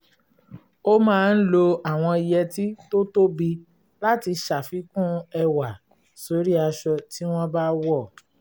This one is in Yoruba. ó máa ń lo àwọn yẹtí tó tóbi láti ṣàfikún ẹwà sórí aṣọ tí wọ́n bá wọ̀